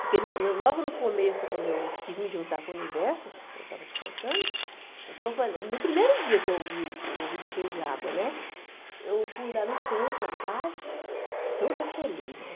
Porque né logo no começo, quando eu quis me juntar com o universo, como eu estava te contando, então foi no primeiro dia que eu ouvi o ouvido cheio de água né, eu fui lá no centro, na tarde, toda feliz, né?